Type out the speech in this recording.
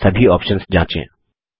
इसमें सभी ऑप्शन्स जाँचें